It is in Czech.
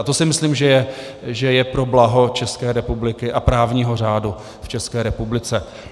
A to si myslím, že je pro blaho České republiky a právního řádu v České republice.